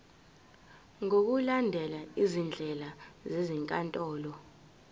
ngokulandela izindlela zezinkantolo